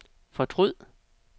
fortryd